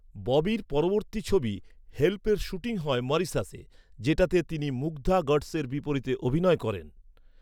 ববির পরবর্তী ছবি হেল্পের শ্যুটিং হয় মরিশাসে, যেটাতে তিনি মুগ্ধা গডসের বিপরীতে অভিনয় করেন।